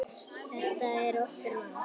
Þetta er okkar mál.